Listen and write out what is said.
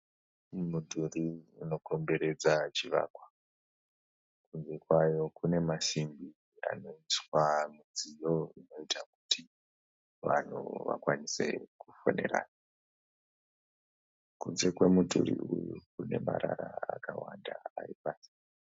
Mudhuri unokomberedza chivakwa. Kunze kwawo kune masimbi anoiswa mudziyo unoita kuti vanhu vakwanise kufonerana. Kunze kwemudhuri uyu kune marara akawanda ari pasi.